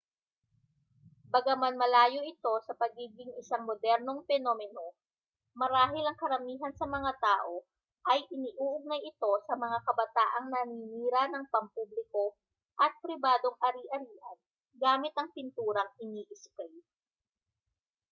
bagaman malayo ito sa pagiging isang modernong penomeno marahil ang karamihan sa mga tao ay iniuugnay ito sa mga kabataang naninira ng pampubliko at pribadong ari-arian gamit ang pinturang iniisprey